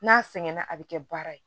N'a sɛgɛnna a bɛ kɛ baara ye